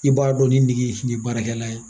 I b'a dɔn ni nege in tɛ baarakɛla ye.